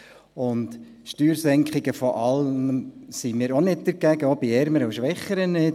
Bei den Steuersenkungen sind wir nicht immer dagegen, auch bei den Ärmeren und Schwächeren nicht.